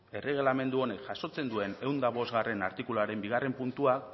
erregelamendu honek jasotzen duen ehun eta bostgarrena artikuluaren bigarren puntua